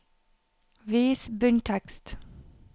Vis bunntekst